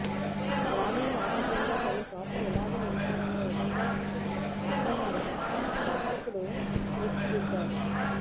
గ్రామీణ నేపథ్యంలో కొన్నిచోట్ల ఇలాగే ఉంటారనే విధంగా పాత్రల్ని దర్శకుడు తీర్చిదిద్దాడు